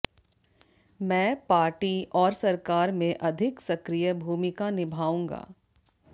मैं पार्टी और सरकार में अधिक सक्रिय भूमिका निभाऊंगा